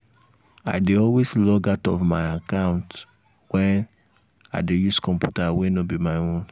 i dey always log out my account when i dey use computer wey no be my own.